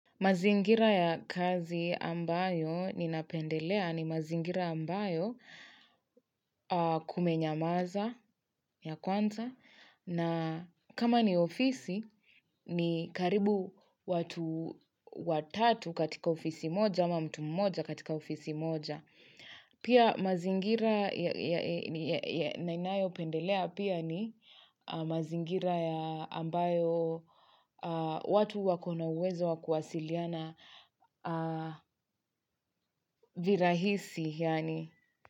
Mazingira ya kazi ambayo ninapendelea ni mazingira ambayo kumenyamaza ya kwanza na kama ni ofisi ni karibu watu watatu katika ofisi moja ama mtu mmoja katika ofisi moja. Pia mazingira ya ninayo pendelea pia ni mazingira ya ambayo watu wako na uwezo wa kuwasiliana virahisi. Yaani.